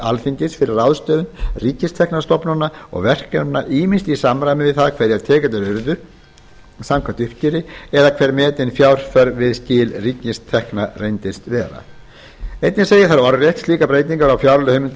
alþingis fyrir ráðstöfun ríkistekna stofnana og verkefna ýmist í samræmi við það hverjar tekjurnar urðu samkvæmt uppgjöri eða hver metin fjárþörf við skil ríkistekna reyndist vera einnig segir þar orðrétt slíkar breytingar á